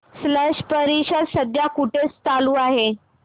स्लश परिषद सध्या कुठे चालू आहे